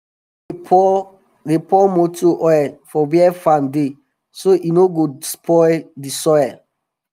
we no dey pour dey pour motor oil for where farm dey so e no go spoil d soil